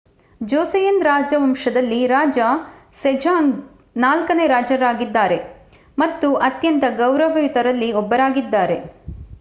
ಜೋಸೆಯನ್ ರಾಜವಂಶದಲ್ಲಿ ರಾಜ ಸೆಜಾಂಗ್ ನಾಲ್ಕನೇ ರಾಜನಾಗಿದ್ದಾರೆ ಮತ್ತು ಅತ್ಯಂತ ಗೌರವಯುತರಲ್ಲಿ ಒಬ್ಬರಾಗಿದ್ದಾರೆ